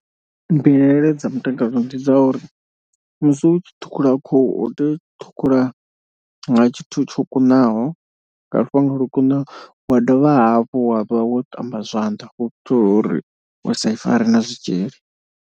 Mbilaelo dza mutakalo ndi dza uri musi u tshi ṱhukhula khuhu tea u ṱhukhula nga tshithu tsho kunaho nga lufhanga lwo kunaho. Wa dovha hafhu wa vha wo ṱamba zwanḓa u itela uri usa i fare na zwitzhili.